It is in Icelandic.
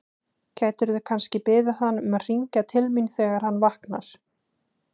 Gætirðu kannski beðið hann um að hringja til mín þegar hann vaknar?